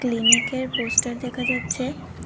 ক্লিনিকের পোস্টার দেখা যাচ্ছে।